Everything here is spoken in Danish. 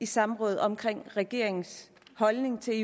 samråd om regeringens holdning til